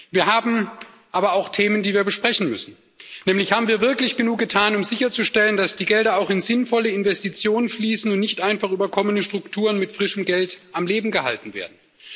Wir haben aber auch Themen, die wir besprechen müssen, nämlich Haben wir wirklich genug getan, um sicherzustellen, dass die Gelder auch in sinnvolle Investitionen fließen und nicht einfach überkommene Strukturen mit frischem Geld am Leben gehalten werden?